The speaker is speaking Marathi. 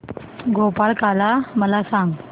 गोपाळकाला मला सांग